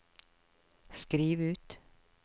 skriv ut